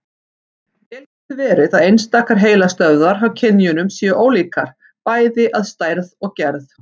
Vel getur verið að einstakar heilastöðvar hjá kynjunum séu ólíkar, bæði að stærð og gerð.